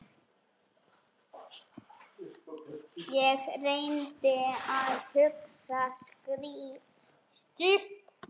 Ég reyndi að hugsa skýrt.